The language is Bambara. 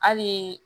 Hali